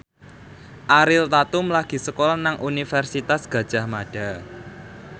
Ariel Tatum lagi sekolah nang Universitas Gadjah Mada